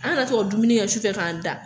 An ka na to ka dumuni kɛ su fɛ k'an da.